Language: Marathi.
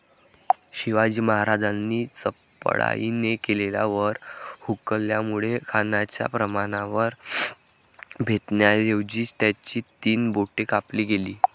शिवाजी महाराजांनी चपळाईने केलेला वर हुकल्यामुळे खानाच्या प्राणावर बेतण्याऐवजी त्याची तीन बोटे कापली गेली.